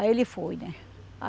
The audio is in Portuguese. Aí ele foi, né?